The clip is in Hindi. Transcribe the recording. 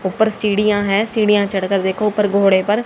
ऊपर सीढ़ियां हैं सीढ़ियां चढ़कर देखो ऊपर घोड़े पर--